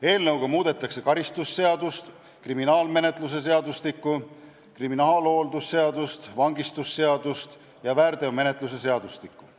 Eelnõuga muudetakse karistusseadustikku, kriminaalmenetluse seadustikku, kriminaalhooldusseadust, vangistusseadust ja väärteomenetluse seadustikku.